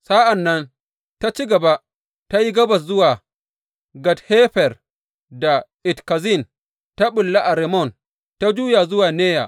Sa’an nan ta ci gaba, ta yi gabas zuwa Gat Hefer da Et Kazin; ta ɓulla a Rimmon, ta juya zuwa Neya.